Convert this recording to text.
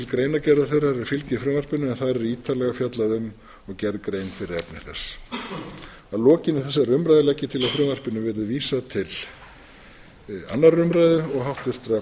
greinargerðar þeirrar er fylgir frumvarpinu en þar er ítarlega fjallað um og gerð grein fyrir efni þess að lokinni þessari umræðu legg ég til að frumvarpinu verði vísað til annarrar umræðu og háttvirtrar atvinnuveganefndar